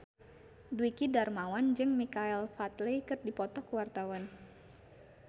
Dwiki Darmawan jeung Michael Flatley keur dipoto ku wartawan